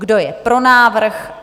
Kdo je pro návrh?